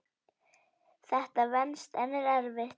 Þetta venst en er erfitt.